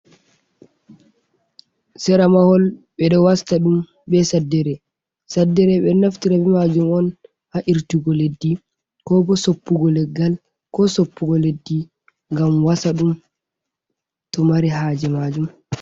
Sera mahol, ɓe ɗo wasta ɗum be saddere, saddere ɓe ɗo naftira be majum on ha irtugo leddi, ko bo soppugo leggal, ko soppugo leddi ngam wasa ɗum to mari haaje maajum.